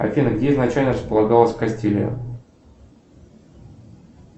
афина где изначально располагалась кастилья